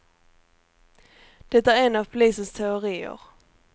Det är en av polisens teorier.